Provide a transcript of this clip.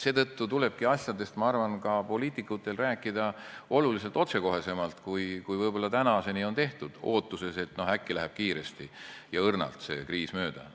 Seetõttu tulebki asjadest, ma arvan, ka poliitikutel rääkida oluliselt otsekohesemalt, kui võib-olla tänaseni on tehtud, ootuses, et äkki läheb see kriis kiiresti ja õrnalt mööda.